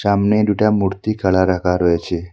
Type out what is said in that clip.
আমনে দুটা মূর্তি খাড়া রাখা রয়েছে।